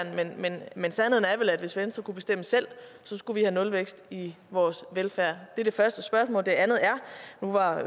men sandheden er vel at hvis venstre kunne bestemme selv skulle vi have nulvækst i vores velfærd det er det første spørgsmål det andet er